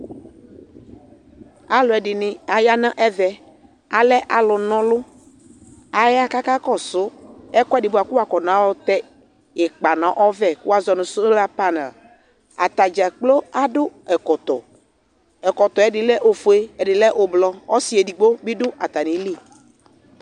Alʋ ɛdini aya nʋ ɛvɛ Alɛ alʋ nɔlʋ Aya kakakɔsʋ ɛkʋɛdi boa kʋ woakɔna yɔtɛ ikpa nʋ ɔvɛ, kʋ woazɔ nʋ sola panɛli Atadza kplo adʋ ɛkɔtɔ Ɛkɔtɔ yɛ ɛdi lɛ ofue, ɛdi lɛ ʋblʋ Ɔsi edigbo bi dʋ atami ili